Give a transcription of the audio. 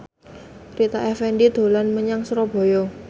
Rita Effendy dolan menyang Surabaya